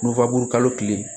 kalo tile